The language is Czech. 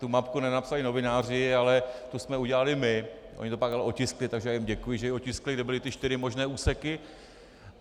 Tu mapku nenapsali novináři, ale tu jsme udělali my, oni to pak ale otiskli, takže já jim děkuji, že ji otiskli, kde byly ty čtyři možné úseky.